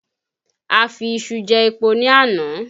A fi iṣu jẹ́ epo ní àná